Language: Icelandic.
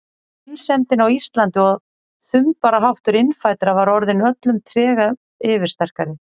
Einsemdin á Íslandi og þumbaraháttur innfæddra var orðin öllum trega yfirsterkari.